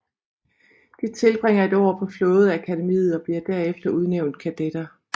De tilbringer et år på flådeakademiet og bliver derefter udnævnt kadetter